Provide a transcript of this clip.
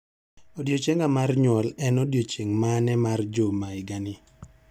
Odiechienga mar nyuol en odiechieng' mane mar juma higani?